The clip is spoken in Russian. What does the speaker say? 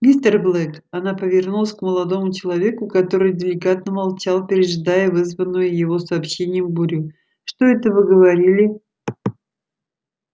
мистер блэк она повернулась к молодому человеку который деликатно молчал пережидая вызванную его сообщением бурю что это вы говорили